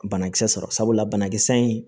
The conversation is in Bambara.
Banakisɛ sɔrɔ sabula banakisɛ in